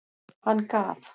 Hann gaf.